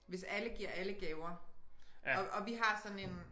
Hvis alle giver alle gaver og og vi har sådan en